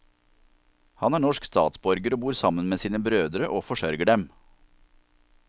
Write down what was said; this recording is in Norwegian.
Han er norsk statsborger og bor sammen med sine brødre og forsørger dem.